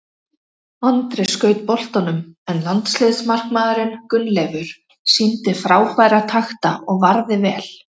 Andri skaut boltanum en landsliðsmarkmaðurinn Gunnleifur sýndi frábæra takta og varði vel.